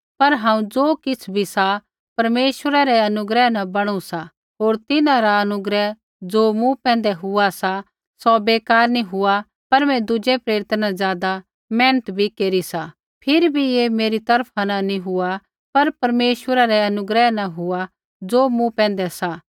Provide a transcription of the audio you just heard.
पर हांऊँ ज़ो किछ़ भी सा परमेश्वरै रै अनुग्रह न बणु सा होर तिन्हां रा अनुग्रह ज़ो मूँ पैंधै हुआ सा सौ बेकार नी हुआ सा पर मैं दुज़ै प्रेरिता न ज़ादा मेहनत भी केरी सा फिरी भी ऐ मेरी तरफा न नी हुआ पर परमेश्वरै रै अनुग्रह न हुआ ज़ो मूँ पैंधै सा